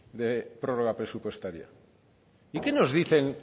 de prórroga presupuestaria y qué nos dicen